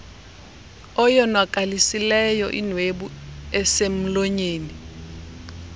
oyonakalisileyo inwebu eselmlonyeni